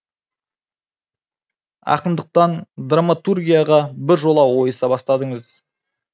ақындықтан драматургияға бір жола ойыса бастадыңыз